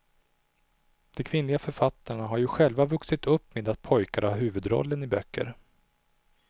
De kvinnliga författarna har ju själva vuxit upp med att pojkar har huvudrollen i böcker.